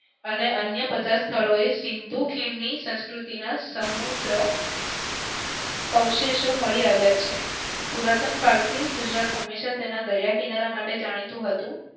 અને અન્ય પચાસ સ્થળોએ સિંધુ ખીણની સંસ્કૃતિના સમ્રુદ્ધ અવશેષો મળી આવ્યા છે. પુરાતન કાળથી ગુજરાત હંમેશા એના દરિયા કિનારા માટે જાણીતું હતું.